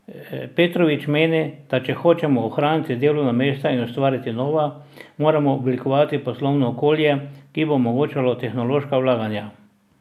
Petrovič meni, da če hočemo ohraniti delovna mesta in ustvariti nova, moramo oblikovati poslovno okolje, ki bo omogočalo tehnološka vlaganja.